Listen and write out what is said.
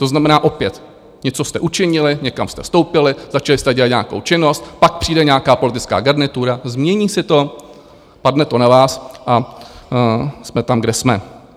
To znamená, opět něco jste učinili, někam jste vstoupili, začali jste dělat nějakou činnost, pak přijde nějaká politická garnitura, změní si to, padne to na vás a jsme tam, kde jsme.